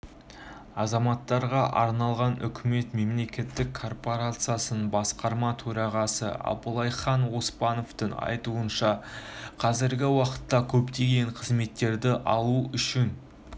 азаматтарға арналған үкімет мемлекеттік корпорациясының басқарма төрағасы абылайхан оспановтың айтуынша қазіргі уақытта көптеген қызметтерді алу үшін